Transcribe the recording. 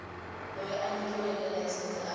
loyi a nyikiweke layisense a